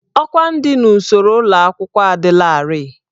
Ọkwá ndị n'usoro ụlọ akwụkwọ adịlarị.